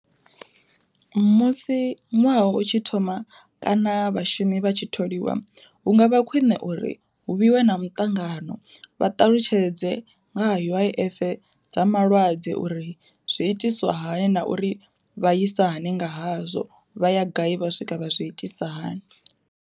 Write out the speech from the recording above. Musi ṅwaha u tshi thoma kana vhashumi vha tshi tholiwa hu nga vha khwiṋe uri hu vhiwe na muṱangano vha ṱalutshedze nga ha U_I_F dza malwadze uri zwi itiswa hani na uri vhaisa hani nga hazwo vha ya gai vha swika vha zwi itisa hani.